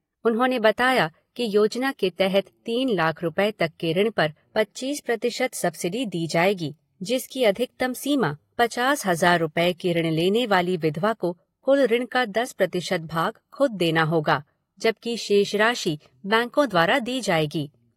उन्होंने बताया कि योजना के तहत तीन लाख रुपये तक के ऋण पर पच्चीस प्रतिशत सबसिडी दी जाएगी, जिसकी अधिकतम सीमा पचास हजार रूपये का ऋण लेने वाली विधवा को कुल ऋण का दस प्रतिशत भाग खुद देना होगा जबकि शेष राशि बैंको द्वारा दी जाएगी।